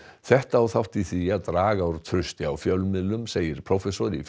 þetta á þátt í því að draga úr trausti á fjölmiðlum segir prófessor í